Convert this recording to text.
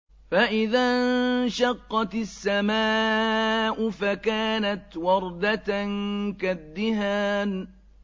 فَإِذَا انشَقَّتِ السَّمَاءُ فَكَانَتْ وَرْدَةً كَالدِّهَانِ